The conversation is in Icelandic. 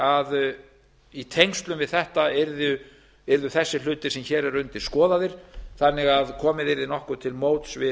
að í tengslum við þetta yrðu þessir hlutir sem hér eru undir skoðaðir þannig að komið yrði nokkuð til móts við